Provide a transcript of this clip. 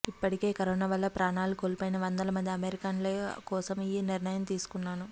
ఇప్పటికే కరోనా వల్ల ప్రాణాలు కోల్పోయిన వందల మంది అమెరికన్ల కోసం ఈ నిర్ణయం తీసుకున్నాను